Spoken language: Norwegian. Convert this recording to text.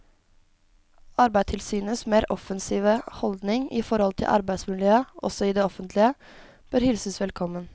Arbeidstilsynets mer offensive holdning i forhold til arbeidsmiljøet også i det offentlige bør hilses velkommen.